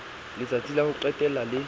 letsatsi la ho qetela le